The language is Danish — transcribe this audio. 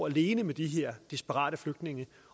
alene med de her desperate flygtninge